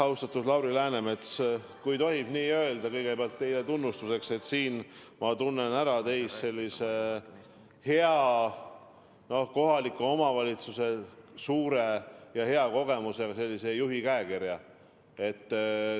Austatud Lauri Läänemets, kui tohib kõigepealt teile tunnustuseks öelda, et ma tunnen teie puhul ära sellise hea, kohaliku omavalitsuse suurte kogemustega juhi käekirja.